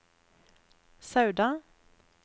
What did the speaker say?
Sauda